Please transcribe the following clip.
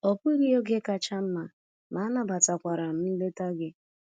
Ọ bụghị oge kacha mma, ma anabatakwara m nleta gị.